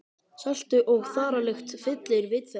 Seltu- og þaralykt fyllir vit þeirra.